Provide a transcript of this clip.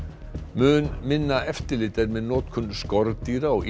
mun minna eftirlit er með notkun skordýra og